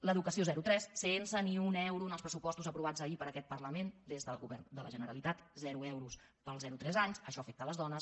l’educació zerotres sense ni un euro en els pressupostos aprovats ahir per aquest parlament des del govern de la generalitat zero euros per al zero tres anys això afecta les dones